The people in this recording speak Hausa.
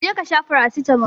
je kasha farasitamol